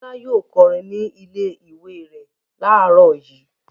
Bọ́lá yóò kọrin ní ilé-ìwé rẹ̀ láàárọ̀ yìí.